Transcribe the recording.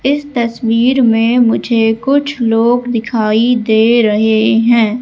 इस तस्वीर में मुझे कुछ लोग दिखाई दे रहे हैं।